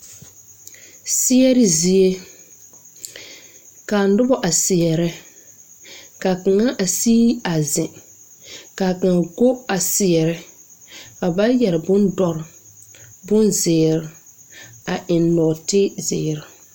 Bibiire be la zi gbaŋgbaliŋ kaa teŋɛ muli baŋ yɛre kooturre ka ba mine vɔgle zupileehi ka kaŋa are tabol zuŋ kyɛ ka ba mine tɔŋ fuolee o lomboreŋ.